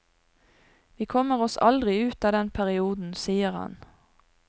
Vi kommer oss aldri ut av den perioden, sier han.